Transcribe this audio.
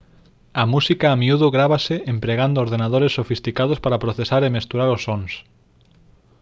a música a miúdo grávase empregando ordenadores sofisticados para procesar e mesturar os sons